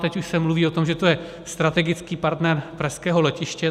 Teď už se mluví o tom, že to je strategický partner pražského letiště.